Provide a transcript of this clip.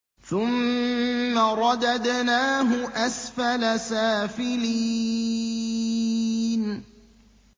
ثُمَّ رَدَدْنَاهُ أَسْفَلَ سَافِلِينَ